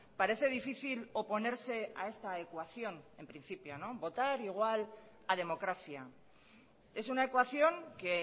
parece difícil oponerse a esta ecuación en principio votar igual a democracia es una ecuación que